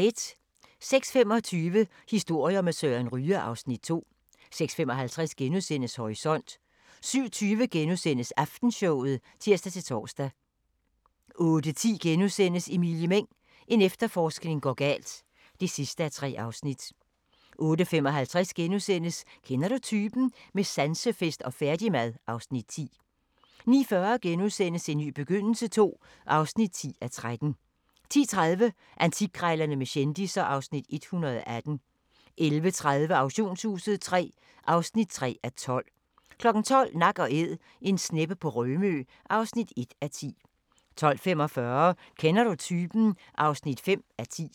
06:25: Historier med Søren Ryge (Afs. 2) 06:55: Horisont * 07:20: Aftenshowet *(tir-tor) 08:10: Emilie Meng – en efterforskning går galt (3:3)* 08:55: Kender du typen? – med sansefest og færdigmad (Afs. 10)* 09:40: En ny begyndelse II (10:13)* 10:30: Antikkrejlerne med kendisser (Afs. 118) 11:30: Auktionshuset III (3:12) 12:00: Nak & Æd – en sneppe på Rømø (1:10) 12:45: Kender du typen? (5:10)